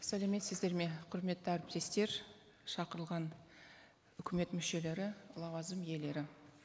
сәлеметсіздер ме құрметті әріптестер шақырылған үкімет мүшелері лауазым иелері